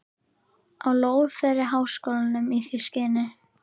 á lóð þeirri háskólanum í því skyni